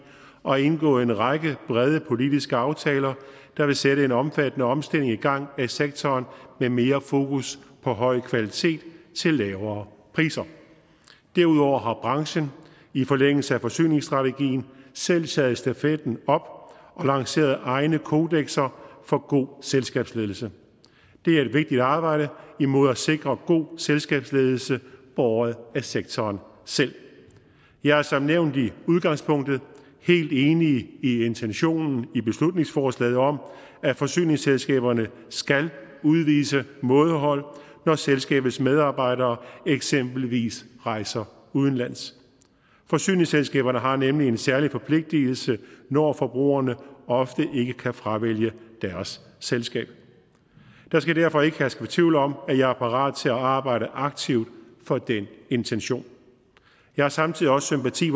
og har indgået en række brede politiske aftaler der vil sætte en omfattende omstilling i gang af sektoren med mere fokus på høj kvalitet til lavere priser derudover har branchen i forlængelse af forsyningsstrategien selv taget stafetten op og lanceret egne kodekser for god selskabsledelse det er et vigtigt arbejde imod at sikre god selskabsledelse båret af sektoren selv jeg er som nævnt i udgangspunktet helt enig i intentionen i beslutningsforslaget om at forsyningsselskaberne skal udvise mådehold når selskabets medarbejdere eksempelvis rejser udenlands forsyningsselskaberne har nemlig en særlig forpligtelse når forbrugerne ofte ikke kan fravælge deres selskab der skal derfor ikke herske tvivl om at jeg er parat til at arbejde aktivt for den intention jeg har samtidig også sympati